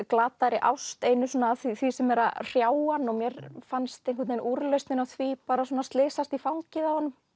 glataðri ást einu af því sem er að hrjá hann og mér fannst einhvern veginn úrlausnin á því bara svona slysast í fangið á honum